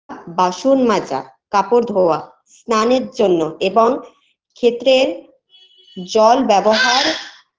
বাসন মাজা কাপড় ধোয়া স্নানের জন্য এবং খেত্রের জল ব্যবহার